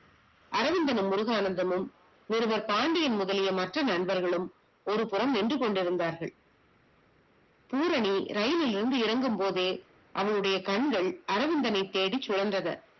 அரவிந்தனும் முருகானந்தமும் ஒருவர் பாண்டியன் முதலிய மற்ற நண்பர்களும் ஒருபுறம் நின்றுகொண்டிருந்தார்கள். பூரணி இரயிலில் இருந்து இறங்கும்போதே அவளுடிய கண்கள் அரவிந்தனை தேடி சுலர்ந்தன